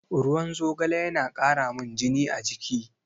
Ruwan zogale yana ƙaramin jini a jiki.